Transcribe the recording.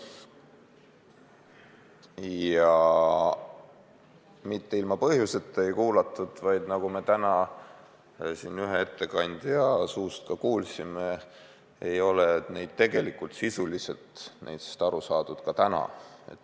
Ja mitte ilma põhjuseta ei kuulatud, vaid nagu me täna siin ühe ettekandja suust kuulsime, neist ei ole tegelikult sisuliselt aru saadud ka täna.